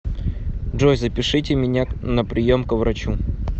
джой запишите меня на прием к врачу